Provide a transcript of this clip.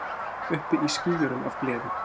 Uppi í skýjunum af gleði.